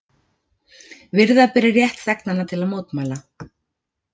Virða beri rétt þegnanna til mótmæla